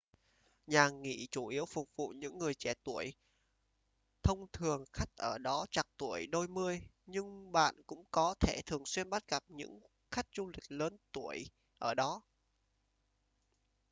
nhà nghỉ chủ yếu phục vụ những người trẻ tuổi thông thường khách ở đó trạc tuổi đôi mươi nhưng bạn cũng có thể thường xuyên bắt gặp những khách du lịch lớn tuổi ở đó